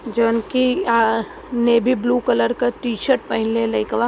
जोनकी आह navy blue colour का T-shirt पहले लईकवा।